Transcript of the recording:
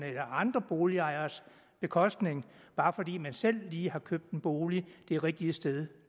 eller andre boligejeres bekostning bare fordi man selv lige har købt en bolig det rigtige sted